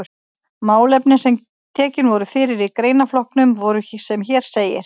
Málefnin sem tekin voru fyrir í greinaflokkunum voru sem hér segir